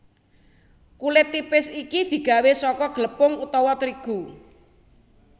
Kulit tipis iki digawé saka glepung utawa trigu